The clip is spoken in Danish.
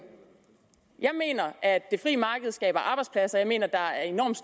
jeg mener at det frie marked skaber arbejdspladser og jeg mener at der er enormt